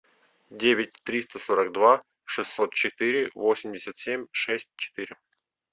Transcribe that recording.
девять триста сорок два шестьсот четыре восемьдесят семь шесть четыре